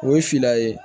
O ye fila ye